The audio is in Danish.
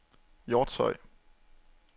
Hjortshøj